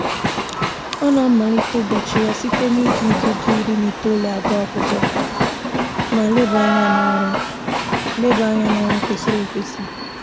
Ọ na-amalite ụbọchị ya site na-iji nkeji iri na itoolu agụ akwụkwọ ma leba anya n'ọrụ leba anya n'ọrụ kwesịrị ekwesị